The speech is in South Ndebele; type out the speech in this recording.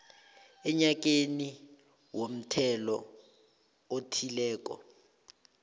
enyakeni womthelo othileko